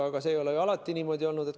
Aga see ei ole ju alati niimoodi olnud.